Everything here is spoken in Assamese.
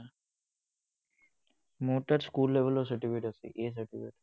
মোৰ তাত school level ৰ certificate আছে, A certificate